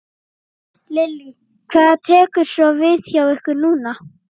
Lillý: Hvað tekur svo við hjá ykkur núna?